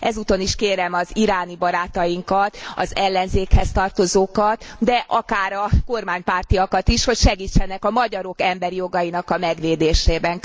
Ezúton is kérem az iráni barátainkat, az ellenzékhez tartozókat, de akár a kormánypártiakat is, hogy segítsenek a magyarok emberi jogainak a megvédésében.